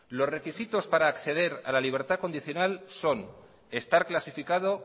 los requisitos para acceder a la libertad condicional son estar clasificado